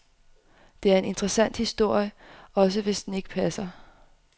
Det er en interessant historie, også hvis den ikke passer.